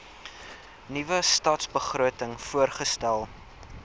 nuwe stadsbegroting voorgestel